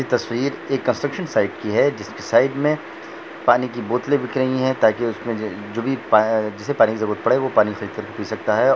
यह तस्वीर construction side की है जिसके साइड मे पानी के बोटले बिक रही है ताके उसमे जो भी पानी की जरूरत पड़े वो पानी फेक कर पी सकता है।